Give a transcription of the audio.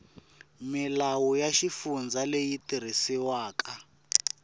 milawu ya xifundza leyi tirhisiwaka